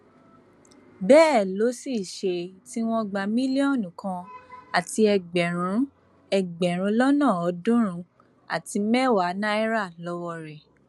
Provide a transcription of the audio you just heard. bẹẹ ló sì ṣe tí wọn gba mílíọnù kan àti ẹgbẹrún ẹgbẹrún lọnà ọọdúnrún àti mẹwàá náírà lọwọ rẹ